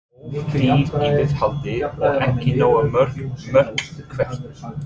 Of dýr í viðhaldi og ekki nógu mörg mörk Hvert?